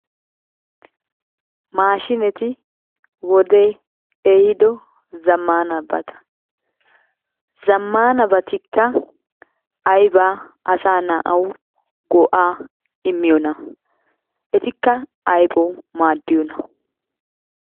Maashiineti wodee ehido zammaanabata. Zammaanabatikka aybaa asaa na"awu go"aa immiyoonaa? Etikka aybawu maaddiyoona?